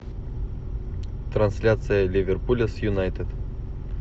трансляция ливерпуля с юнайтед